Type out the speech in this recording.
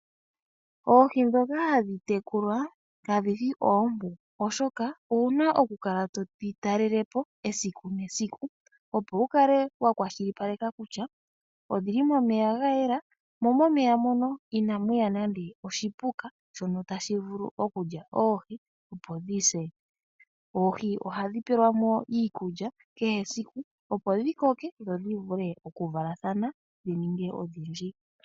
Oohi ndhoka hadhi tekulwa ka dhi shi oompu oshoka owuna oku kala todhi talele po esiku nesiku, opo wu kale wa kwashilipaleka kutya odhili momeya ga yela, mo momeya mono inamu ya nande oshipuka shono tashi vulu okulya oohi opo dhi se. Oohi ohadhi pelwa mo iikulya kehe esiku, opo dhi koke dho dhi vule oku valathana dhi ninge odhindji.